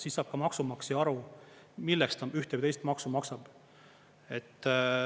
Siis saab ka maksumaksja aru, milleks ta ühte või teist maksu maksab.